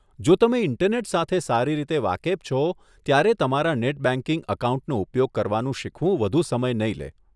જો તમે ઈન્ટરનેટ સાથે સારી રીતે વાકેફ છો, ત્યારે તમારા નેટ બેંકિંગ એકાઉન્ટનો ઉપયોગ કરવાનું શીખવું વધુ સમય નહીં લે.